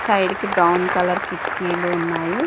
Side కి brown colour కిటికీలు ఉన్నవి.